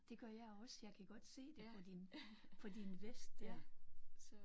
Det gør jeg også jeg kan godt se det på din på din vest der